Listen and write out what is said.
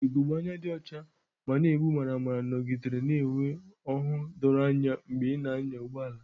Ugogbe anya dị ọcha ma na-egbu maramara nọgidere na-enwe ọhụụ doro anya mgbe ị na-anya ụgbọ ala.